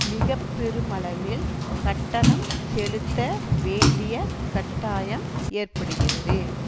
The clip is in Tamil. மிக பெருமளவில் கட்டணம் செலுத்த வேண்டிய கட்டாயம் ஏற்படுகிறது